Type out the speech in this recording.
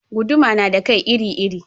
Guduma na da kai iri iri